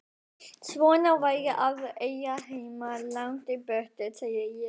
Svona væri að eiga heima langt í burtu, sagði ég.